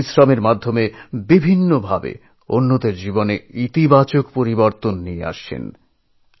নিজের পরিশ্রমের ওপর ভরসা করে নিজস্ব উপায়ে অন্যের জীবনে গুণগত পরিবর্তন আনতে সক্ষম হয়েছেন